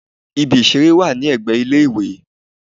Ibi ìṣeré wà ní ẹgbẹ́ ilé-ìwé.